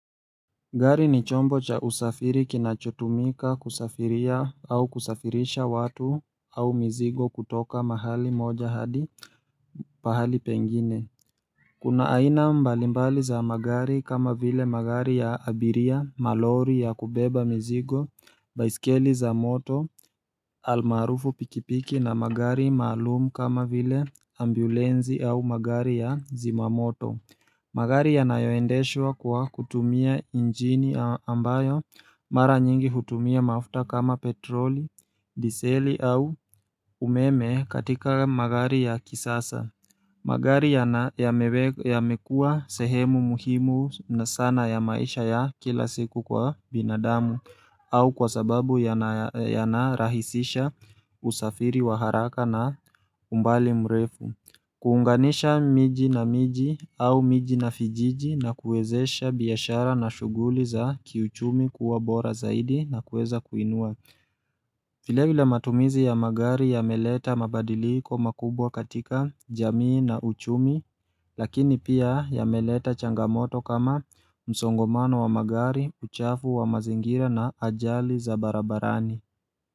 Gari ni chombo cha usafiri kinachotumika kusafiria au kusafirisha watu au mizigo kutoka mahali moja hadi pahali pengine Kuna aina mbalimbali za magari kama vile magari ya abiria, malori ya kubeba mizigo, baiskeli za moto, almarufu pikipiki na magari maalumu kama vile ambulensi au magari ya zimamoto magari yanayoendeshwa kwa kutumia injini ambayo mara nyingi hutumia mafuta kama petroli, diseli au umeme katika magari ya kisasa. Magari yamekuwa sehemu muhimu sana ya maisha ya kila siku kwa binadamu au kwa sababu yanarahisisha usafiri wa haraka na umbali mrefu. Kuunganisha miji na miji au miji na vijiji na kuwezesha biashara na shughuli za kiuchumi kuwa bora zaidi na kuweza kuinua vile vile matumizi ya magari yameleta mabadiliko makubwa katika jamii na uchumi Lakini pia yameleta changamoto kama msongomano wa magari uchafu wa mazingira na ajali za barabarani.